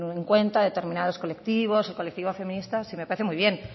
en cuenta determinados colectivos y colectivos feministas si me parece muy bien